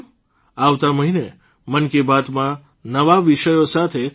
આવતા મહિને મન કી બાતમાં નવા વિષયો સાથે આપની સાથે ફરી મુલાકાત થશે